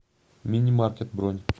мини маркет бронь